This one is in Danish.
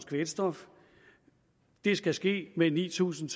kvælstof det skal ske med ni tusind